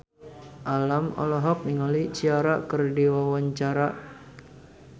Alam olohok ningali Ciara keur diwawancara